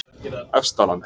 Efstalandi